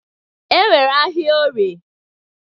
E nwere ahịa Orie.